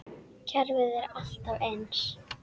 Kerfið er alltaf eins.